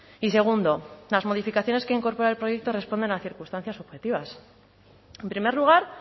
y segundo las modificaciones que incorpora el proyecto responden a circunstancias objetivas en primer lugar